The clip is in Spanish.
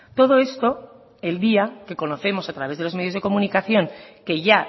todo esto el día que conocemos a través de los medios de comunicación que ya